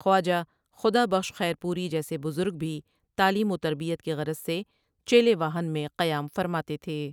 خواجہ Khuda Bakhsh Khairpuri جیسے بزرگ بھی تعلیم وتربیت کی غرض سے چیلے واہن میں قیام فرماتے تھے ۔